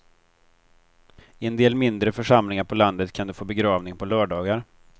I en del mindre församlingar på landet kan du få begravning på lördagar.